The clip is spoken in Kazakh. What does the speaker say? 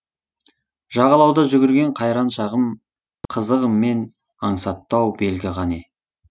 жағалауда жүгірген қайран шағым қызығымен аңсатты ау белгі қане